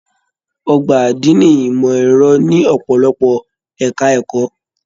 Ọgbà adini ìmọ ẹrọ ní ọpọlọpọ ẹka ẹ̀kọ́.